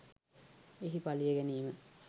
එහි පලිය ගැනීම